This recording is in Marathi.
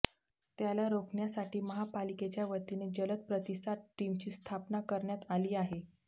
त्याला रोखण्यासाठी महापालिकेच्या वतीने जलद प्रतिसाद टीमची स्थापना करण्यात आली आहे